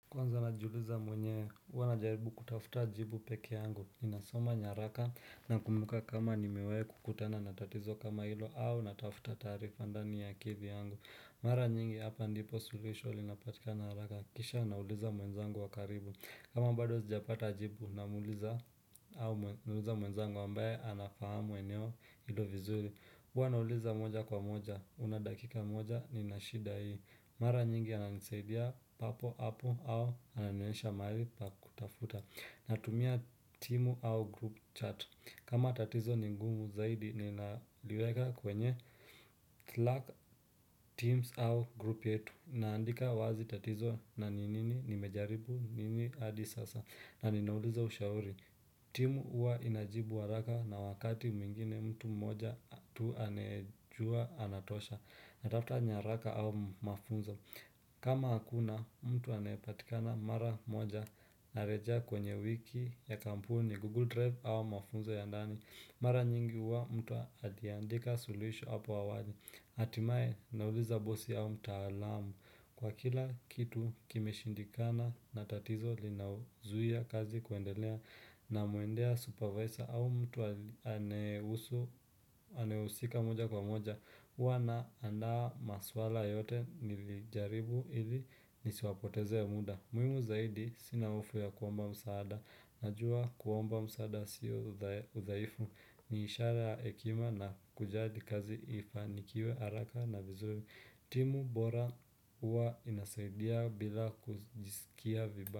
Kwanza najiuliza mwenyewe, huwa najaribu kutafuta jibu pekee yangu. Ninasoma nyaraka, nakumbuka kama nimewahi kukutana na tatizo kama hilo au natafuta taarifa ndani ya akili yangu. Mara nyingi hapa ndipo suluhisho linapatikana haraka kisha nauliza mwenzangu wa karibu kama bado sijapata jibu, namuuliza mwenzangu ambaye anafahamu eneo hilo vizuri Huwa nauliza moja kwa moja, una dakika moja, ninashida hii. Mara nyingi ananisaidia papo hapo au ananionyesha mahali pa kutafuta. Natumia timu au group chat kama tatizo ni ngumu zaidi ninaliweka kwenye Slack teams au group yetu naandika wazi tatizo na ni nini nimejaribu nini adi sasa. Na ninauliza ushauri timu huwa inajibu haraka na wakati mwingine mtu mmoja tu anayejua anatosha. Natafuta nyaraka au mafunzo. Kama hakuna mtu anayepatikana mara moja. Narejea kwenye wiki ya kampuni Google Drive au mafunzo ya ndani. Mara nyingi huwa mtu akiandika suluhisho hapo awali hatimae nauliza bosi au mtaalamu Kwa kila kitu kimeshindikana na tatizo linaozuia kazi kuendelea namuendea supervisor au mtu anayehusu anayehusika moja kwa moja. Huwa naandaa maswala yote nilijaribu ili nisiwapoteze muda. Muhimu zaidi, sina hofu ya kuomba msaada, najuwa kuomba msaada siyo udhaifu ni ishara ya hekima na kujadi kazi ifanikiwe haraka na vizuri. Timu bora huwa inasaidia bila kujisikia vibaya.